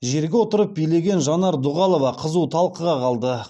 жерге отырып билеген жанар дұғалова қызу талқыға қалды